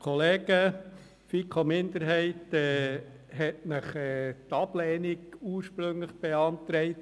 Die FiKo-Minderheit hat Ihnen ursprünglich die Ablehnung beantragt.